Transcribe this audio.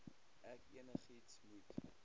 ek enigiets moet